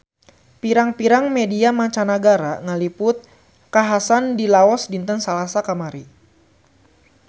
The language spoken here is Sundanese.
Pirang-pirang media mancanagara ngaliput kakhasan di Laos dinten Salasa kamari